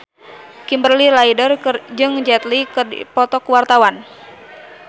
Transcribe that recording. Kimberly Ryder jeung Jet Li keur dipoto ku wartawan